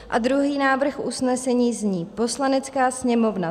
A druhý návrh usnesení zní: "Poslanecká sněmovna